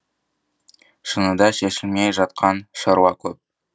шыныда шешілмей жатқан шаруа көп